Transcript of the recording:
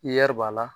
b'a la